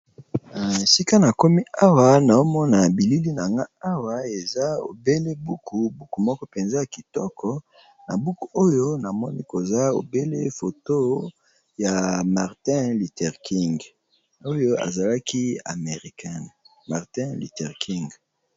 Esika na komi hawa naomona bilili na nga awa eza ebele buku, buku moko mpenza ya kitoko na buku oyo namoni koza obele foto ya Martin Luther King oyo azalaki americain Martin Luthter King.